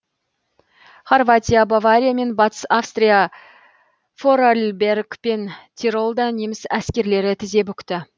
хорватия бавария мен батыс австрия форарльберг пен тиролда неміс әскерлері тізе бүкті